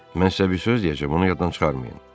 Mən sizə bir söz deyəcəm, onu yaddan çıxarmayın.